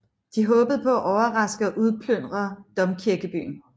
De håbede på at overraske og udplyndre domkirkebyen